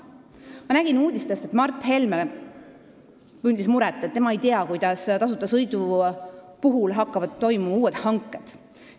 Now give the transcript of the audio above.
Ma nägin uudistest, kui Mart Helme tundis muret, et tema ei tea, kuidas tasuta sõidu puhul hakkavad toimuma uued hanked.